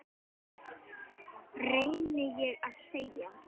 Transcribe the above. reyni ég að segja.